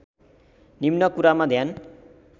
निम्न कुरामा ध्यान